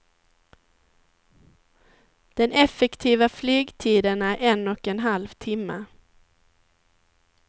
Den effektiva flygtiden är en och en halv timma.